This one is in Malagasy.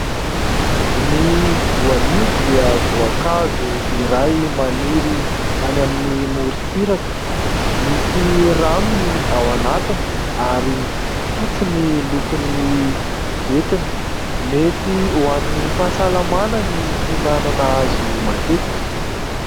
Ny voanio dia voankazo iray maniry any amin'ny moritsiraka. Misy rano ny ao anatiny ary fotsy ny lokon'ny ventiny. Mety ho an'ny fahasalamana ny finanana azy io matetika.